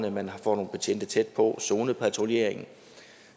at man får nogle betjente tæt på og zonepatruljering